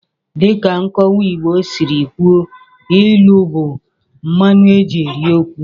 Dịka nkọwa Igbo siri kwuo, ilu bụ mmanụ eji eri okwu.